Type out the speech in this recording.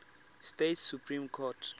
states supreme court